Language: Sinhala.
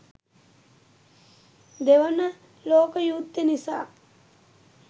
දෙවන ලෝක යුද්දෙ නිසා